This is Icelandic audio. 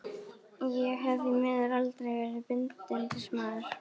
Ég hef því miður aldrei verið bindindismaður.